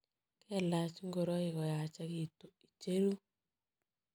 Kelach ngoroik koyachekitu, icheru.